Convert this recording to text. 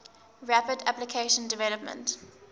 rapid application development